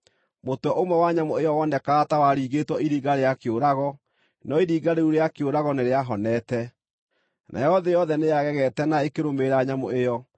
Mũtwe ũmwe wa nyamũ ĩyo wonekaga ta waringĩtwo iringa rĩa kĩũrago, no iringa rĩu rĩa kĩũrago nĩrĩahonete. Nayo thĩ yothe nĩyagegete na ĩkĩrũmĩrĩra nyamũ ĩyo.